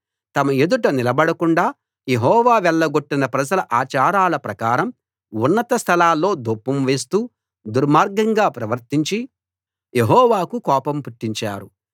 తమ యెదుట నిలబడకుండా యెహోవా వెళ్లగొట్టిన ప్రజల ఆచారాల ప్రకారం ఉన్నత స్థలాల్లో ధూపం వేస్తూ దుర్మార్గంగా ప్రవర్తించి యెహోవాకు కోపం పుట్టించారు